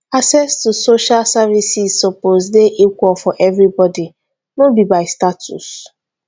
access to social services suppose dey equal for everybody no be by status